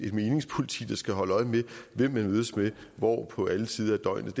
et meningspoliti der skal holde øje med hvem man mødes med og hvor på alle tider af døgnet